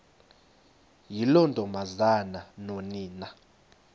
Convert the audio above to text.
yiloo ntombazana nonina